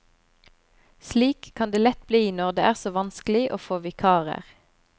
Slik kan det lett bli når det er så vanskelig å få vikarer.